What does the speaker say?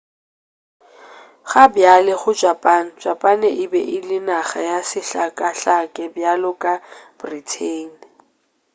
gabjale go japan japan e be ele naga ya sehlakahlake bjalo ka britain